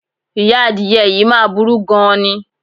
Ìyá adìye̩ yìí máa burú gan-an ni.